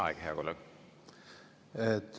Aeg, hea kolleeg!